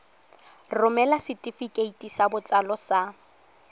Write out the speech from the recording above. romela setefikeiti sa botsalo sa